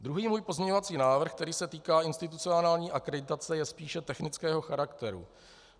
Druhý můj pozměňovací návrh, který se týká institucionální akreditace, je spíše technického charakteru.